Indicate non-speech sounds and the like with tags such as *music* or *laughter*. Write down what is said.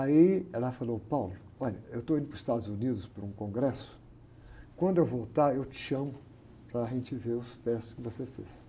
Aí ela falou, *unintelligible* olha, eu estou indo para os Estados Unidos para um congresso, quando eu voltar eu te chamo para a gente ver os testes que você fez.